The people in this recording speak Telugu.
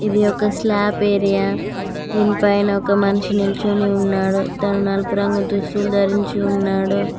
ఇది ఒక స్లాబ్ ఏరియా దీని పైన ఒక మనిషి నిల్చుని ఉన్నాడు తను నలుపు రంగు దుస్తులు ధరించి ఉన్నాడు.